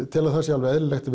tel að það sé alveg eðlilegt